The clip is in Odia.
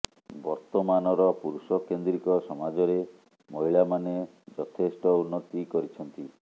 ବର୍ତମାନର ପୁରୁଷ କେନ୍ଦ୍ରୀକ ସମାଜରେ ମହିଳା ମାନେ ଯଥେଷ୍ଟ ଉନ୍ନତି କରିଛନ୍ତି